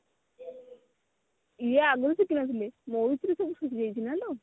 ଇୟେ ଆଗରୁ ଶିଖି ନଥିଲି ସେଇଥିରୁ ସବୁ ଶିଖି ଯାଉଛୁ ନା କଣ